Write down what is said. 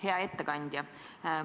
Hea ettekandja!